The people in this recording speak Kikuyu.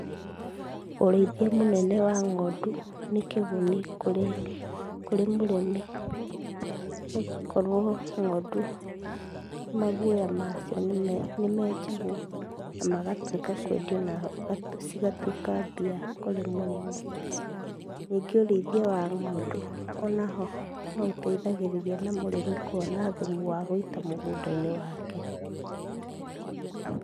ũrĩithia mũnene wa ng'ondũ nĩkĩguni kũrĩ, kũrĩ mũrĩmi nĩgũkorwo ng'ondu magwoya macio nĩmenjagwo na magatũĩka kwendio na cigatuĩka mbia kũrĩ mũrĩmi. Ningĩ ũrĩithia wa ng'ondu onaho noũteithagĩrĩria na mũrĩmi kwona thumu wa gũita mũgũnda-inĩ wake.